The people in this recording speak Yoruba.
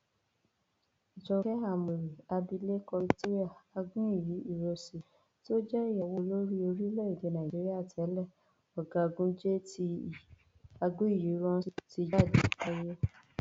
jókè ámórì abilékọ victoria aguiyi ironsi tó jẹ ìyàwó olórí orílẹèdè nàíjíríà tẹlẹ ọgágun jte aguiyiíránsì ti jáde láyé